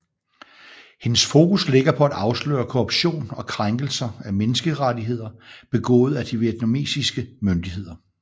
Hendes fokus ligger på at afsløre korruption og krænkelser af menneskerettigheder begået af de vietnamesiske myndigheder